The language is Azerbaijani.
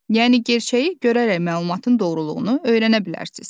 Yəni gerçəyi görərək məlumatın doğruluğunu öyrənə bilərsiz.